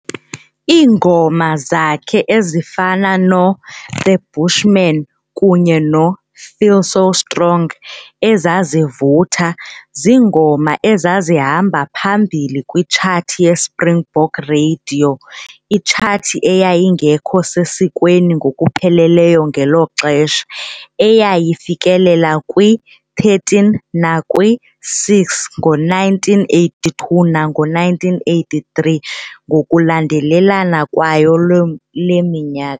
Iingoma zakhe ezifana no"The Bushman" kunye no"Feel So Strong", ezazivutha, ziingoma ezazihamba phambili kwitshathi yeSpringbok Radiyo, Itshathi eyayingekho sesikweni ngokupheleleyo ngelo xesha, eyayifikelela kwi-13 nakwi-6 ngo1982 nango1983 ngokulandelelana kwayo loo le minyaka.